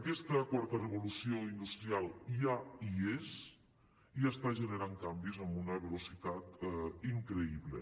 aquesta quarta revolució industrial ja hi és i està generant canvis amb una velocitat increïble